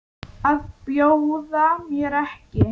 Að bjóða mér ekki.